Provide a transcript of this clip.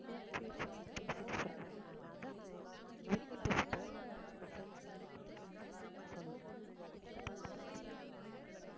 சரி சரி நான் பேசிட்டு சொல்றேன் என்னான்னு அதான் நான் எ~ நான் எங்க வீட்டுலயும் பேசிட்டு நம்ம friends gang கிட்டயும் பேசிட்டு நான் சொல்றேன் நீங்க உங்க சித்தப்பாகிட்ட பேசிட்டு சொல்லுங்க.